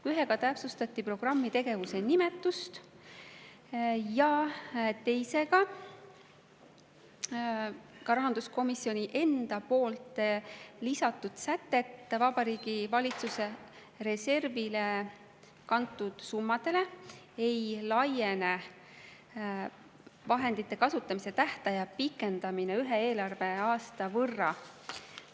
Ühega neist täpsustati programmi tegevuse nimetust ja teises rahanduskomisjoni enda lisatud sätet, et Vabariigi Valitsuse reservi kantud summadele ei laiene vahendite kasutamise tähtaja pikendamine ühe eelarveaasta võrra.